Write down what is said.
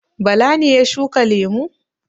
Bala ne ya shuka lemu?